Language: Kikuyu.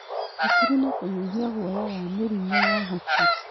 Hakiri na kũnyihia guoya wa mĩrimũ ya hakiri